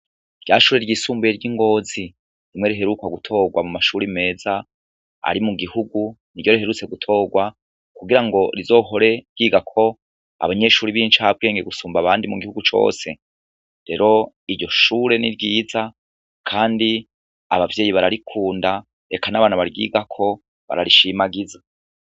Ryashure ryisumbuye ry'iNGOzi, rimwe riheruka gutorwa mumashure meza, ari mugihugu ,niryo riheruka gutorwa ,kugirango rizohore ryigako abanyeshure bincabwenge gusumba abandi mugihugu cose. Rero iryo shure ni ryiza ,kandi abavyeyi bararikunda ,eka n'abana baryigako bararishimagiza.